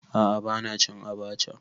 A'a bana cin abacha.